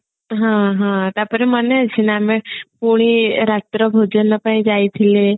ହଁ ହଁ ତାପରେ ମନେ ଅଛି ନା ଆମେ ପୁଣି ରାତ୍ର ଭୋଜନ ପାଇଁ ଯାଇଥିଲେ